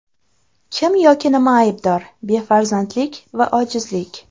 Kim yoki nima aybdor: befarzandlik va ojizlik.